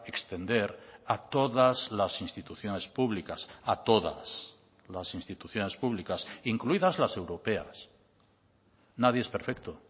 extender a todas las instituciones públicas a todas las instituciones públicas incluidas las europeas nadie es perfecto